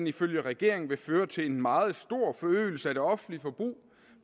ifølge regeringen vil føre til en meget stor forøgelse af det offentlige forbrug